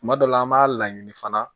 Kuma dɔ la an b'a laɲini fana